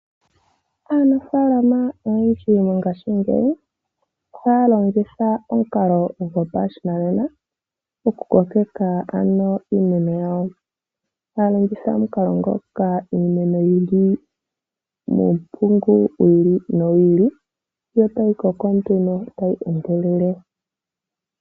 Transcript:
Aanafaalama oyendji mongashingeyi ohaya longitha omukalo gopashinanena, okukokeka iimeno yawo. Ohaya longitha omukalo ngoka iimeno yi li muumpungu wi ili nowi ili yo tayi koko nduno tayi endelele.